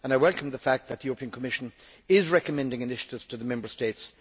I welcome the fact that the Commission is recommending initiatives to the Member States.